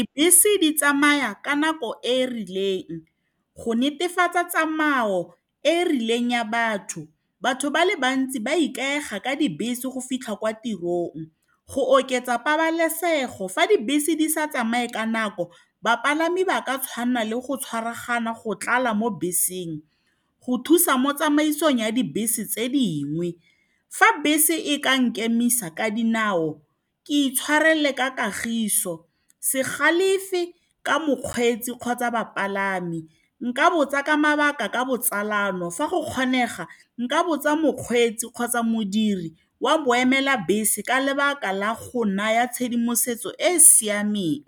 Dibese di tsamaya ka nako e e rileng go netefatsa tsamayo e e rileng ya batho. Batho ba le bantsi ba ikaega ka dibese go fitlha kwa tirong. Go oketsa pabalesego, fa dibese di sa tsamaye ka nako, bapalami ba ka tshwana le go tshwaragana go tlala mo beseng go thusa mo tsamaisong ya dibese tse dingwe. Fa bese e ka nkemisa ka dinao, ke itshwarele ka kagiso, se galefe ka mokgweetsi kgotsa bapalami. Nka botsa ka mabaka ka botsalano. Fa go kgonega, nka botsa mokgweetsi kgotsa modiri wa boemela bese ka lebaka la go naya tshedimosetso e e siameng.